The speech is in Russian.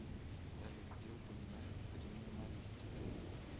салют где упоминается криминалистика